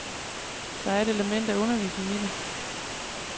Der er et element af undervisning i det.